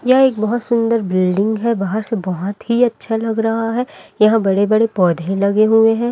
यह एक बहोत सुंदर बिल्डिंग है बाहर से बहोत ही अच्छा लग रहा है यह बड़े बड़े पौधे लगे हुए हैं।